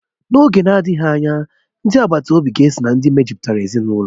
N'oge na-adịghị anya, ndi agbata obi ga-esó na ndị mejupụtara ezinụlọ